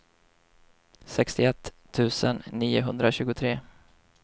sextioett tusen niohundratjugotre